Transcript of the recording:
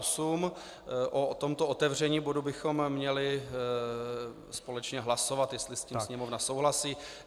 O tomto otevření bodu bychom měli společně hlasovat, jestli s tím Sněmovna souhlasí.